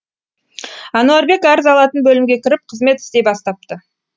әнуарбек арыз алатын бөлімге кіріп қызмет істей бастапты